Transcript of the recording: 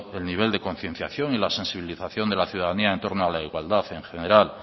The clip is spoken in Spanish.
el nivel de concienciación y la sensibilización de la ciudadanía en torno a la igualdad en general